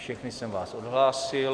Všechny jsem vás odhlásil.